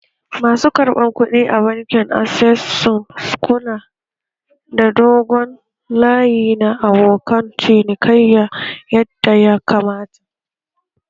Masu karɓar kuɗi a bankin access sun kula da dogon layi na abokan cinikayyan yadda ya kamata